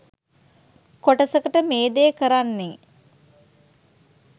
කොටසකට මේ දේ කරන්නෙ